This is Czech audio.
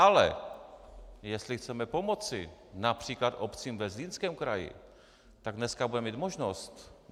Ale jestli chceme pomoci například obcím ve Zlínském kraji, tak dneska budeme mít možnost.